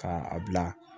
Ka a bila